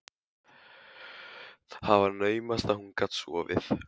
Það var naumast að hún gat sofið.